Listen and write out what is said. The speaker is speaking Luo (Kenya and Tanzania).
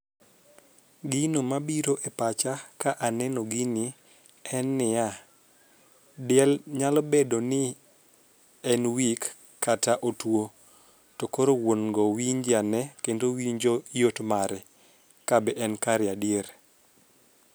Gino mabiro e pacha ka aneno gini en niya , diel nyalo bedo ni en weak kata otuo to koro wuon go winje ane kendo winjo yot mare kabe en kare adier.